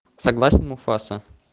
согласен муфаса